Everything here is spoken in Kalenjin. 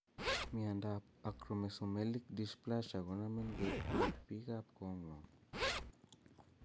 Miondap Acromesomelic dysplasia konomin koyp pik ap kongwong.